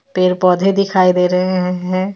पेड़ पौधे दिखाई दे रहे हैं.